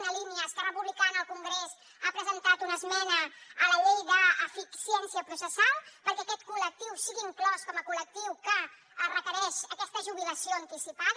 una línia esquerra republicana al congrés ha presentat una esmena a la llei d’eficiència processal perquè aquest col·lectiu sigui inclòs com a col·lectiu que requereix aquesta jubilació anticipada